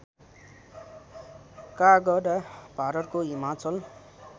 काँगडा भारतको हिमाचल